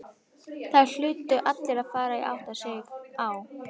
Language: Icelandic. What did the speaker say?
Það hlutu allir að fara að átta sig.